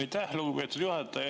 Aitäh, lugupeetud juhataja!